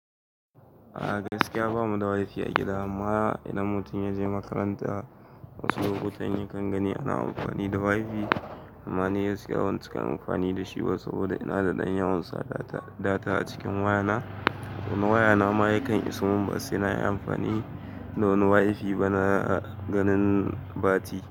A gaskiya bamu da WiFi a gida amma idan mutum ya je makaranta wasu lokutan yakan gani ana amfani da WiFi amma ni yanzu ba zan iya amfani da shi ba saboda ina da ɗan yawonsa data a cikin wayana. Na wayana ma yana isa mun ba sai nayi amafani da wani WIFI ba na ganin bati.